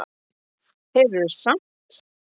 Þeir eru samt